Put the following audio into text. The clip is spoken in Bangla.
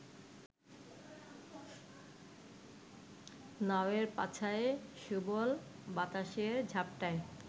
নাওয়ের পাছায় সুবল বাতাসের ঝাপটায়